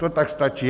To tak stačí.